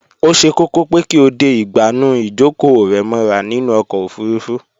Ó ṣe kókó pé kí o de ìgbànú ìjókòó rẹ mọ́ra nínú ọkọ̀ ofurufú